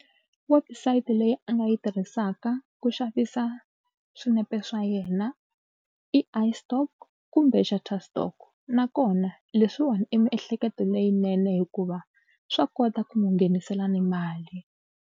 Website leyi a nga yi tirhisaka ku xavisa swinepe swa yena i iStock kumbe nakona leswiwani i miehleketo leyinene hikuva swa kota ku n'wi nghenisela ni mali.